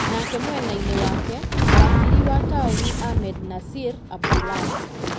Nake mwena-inĩ wake, Wakiri wa taũni, Ahmednasir Abdullahi,